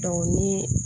ni